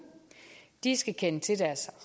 de skal kende til deres